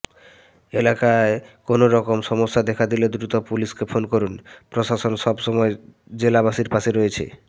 এলাকায় কোনওরকম সমস্যা দেখা দিলে দ্রুত পুলিশকে ফোন করুন প্রশাসন সবসময় জেলাবাসীর পাশে রয়েছে